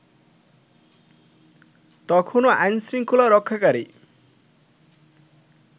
তখনও আইনশৃঙ্খলা রক্ষাকারী